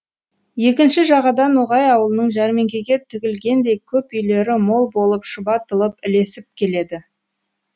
екінші жағада ноғай аулының жәрмеңкеге тігілгендей көп үйлері мол болып шұбатылып ілесіп келеді